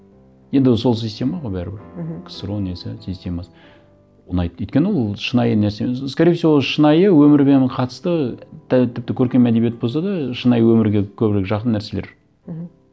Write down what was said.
енді сол система ғой бәрібір мхм ксро несі системасы ұнайды өйткені ол шынайы нәрсе скорее всего шынайы өмірмен қатысты тіпті көркем әдебиет болса да шынайы өмірге көбірек жақын нәрселер мхм